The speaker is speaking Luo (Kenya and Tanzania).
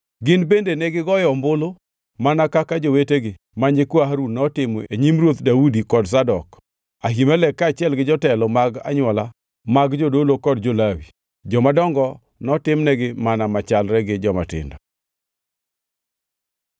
Gin bende negigoyo ombulu mana kaka jowetegi ma nyikwa Harun notimo e nyim Ruoth Daudi kod Zadok, Ahimelek kaachiel gi jotelo mag anywola mag jodolo kod jo-Lawi. Jomadongo notimnegi mana machalre gi jomatindo.